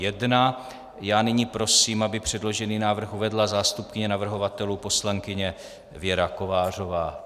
Já nyní prosím, aby předložený návrh uvedla zástupkyně navrhovatelů poslankyně Věra Kovářová.